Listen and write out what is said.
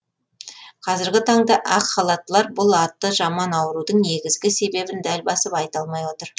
қазіргі таңда ақ халаттылар бұл аты жаман аурудың негізгі себебін дәп басып айта алмай отыр